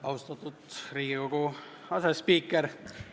Austatud Riigikogu asespiiker!